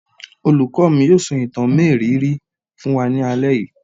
Olùkọ́ mi yóò sọ ìtàn mériìírí fún wa ní alẹ́ yìí.